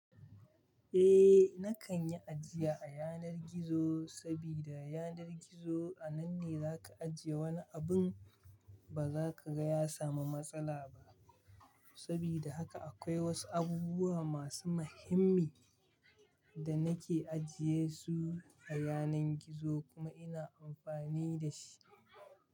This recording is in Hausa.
Eh, na kan yi ajiya a yanar gizo sabida yanar gizo a nan ne za ka ajiye wani abun ba za ka ga ya samu matsala ba. Sabida haka akwai wasu abubuwa masu mahimmi da na ke ajiye su a yanar gizo kuma ina amfani da shi.